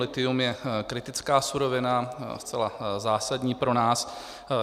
Lithium je kritická surovina, zcela zásadní pro nás.